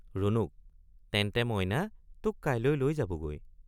ৰুণুক—তেন্তে মইনা তোক কাইলৈ লৈ যাবগৈ।